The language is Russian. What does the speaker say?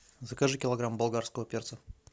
закажи килограмм болгарского перца